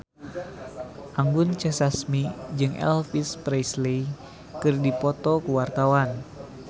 Anggun C. Sasmi jeung Elvis Presley keur dipoto ku wartawan